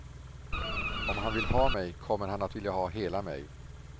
Om han vill ha mig, kommer han att vilja ha hela mig.